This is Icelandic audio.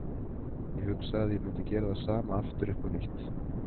Ég hugsa að ég mundi gera það sama aftur upp á nýtt.